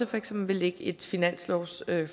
for eksempel vil lægge et finanslovsforslag